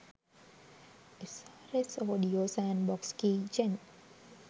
srs audio sandbox keygen